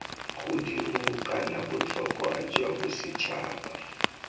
godimo kana botlhokwa jwa bosetšhaba